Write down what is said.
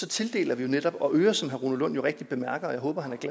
tildeler vi jo netop noget og øger som herre rune lund jo rigtigt bemærker og jeg håber